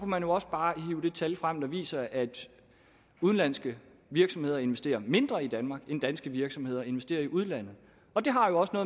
man jo også bare hive det tal frem der viser at udenlandske virksomheder investerer mindre i danmark end danske virksomheder investerer i udlandet det har jo også